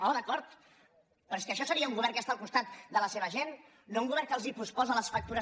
oh d’acord però és que això seria un govern que està al costat de la seva gent no un govern que els posposa les factures